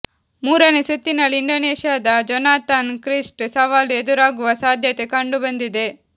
ಮೂರನೇ ಸುತ್ತಿನಲ್ಲಿ ಇಂಡೋನೇಷ್ಯಾದ ಜೊನಾಥನ್ ಕ್ರಿಸ್ಟಿ ಸವಾಲು ಎದುರಾಗುವ ಸಾಧ್ಯತೆ ಕಂಡು ಬಂದಿದೆ